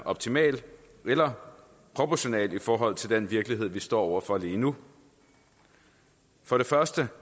optimal eller proportional i forhold til den virkelighed som vi står over for lige nu for det første